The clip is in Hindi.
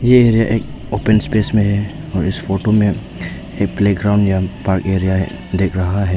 यह एरिया एक ओपन स्पेस में है और इस फोटो में एक प्लेग्राउंड या पार्क एरिया दिख रहा है।